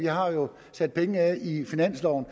har jo sat penge af i finansloven og